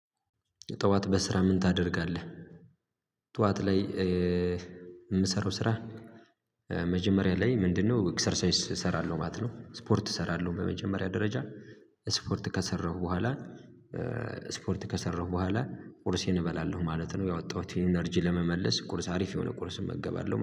ጠዋት በስራ ምን ታደርጋለህ? ጠዋት ላይ የምሰራው ስራ መጀመሪያ ላይ ምንድነው ኤክሰርሳይስ እሰራለሁ ማለት ነው ስፖርት እሰራለሁ በመጀመሪያ ደረጃ ስፖርት ከሰራሁ በኋላ ስፖርት ከሰራሁ በኋላ ቁርሴን እበላለሁ ማለት ነው ያወጣሁትን ኢነርጂ ለመመለስ ቁርስ አሪፍ የሆነ ቁርስ እመገባለው ማለት